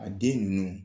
A den ninnu